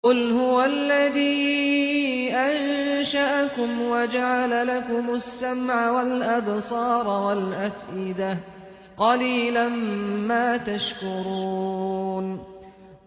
قُلْ هُوَ الَّذِي أَنشَأَكُمْ وَجَعَلَ لَكُمُ السَّمْعَ وَالْأَبْصَارَ وَالْأَفْئِدَةَ ۖ قَلِيلًا مَّا تَشْكُرُونَ